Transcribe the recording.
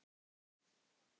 Elsku Frank.